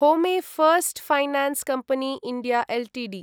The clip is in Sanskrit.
होमे first finance company India Ltd